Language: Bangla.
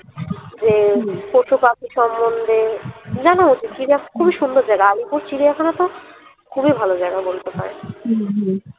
যে পশুপাখি সম্মন্ধে খুব ই সুন্দর জায়গা আলিপুর চিড়িয়াখানা তো খুব ই ভালো জায়গা বলতে পারেন।